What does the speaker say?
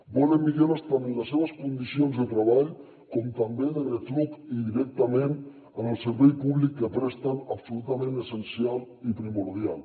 volen millores tant en les seves condicions de treball com també de retruc i directament en el servei públic que presten absolutament essencial i primordial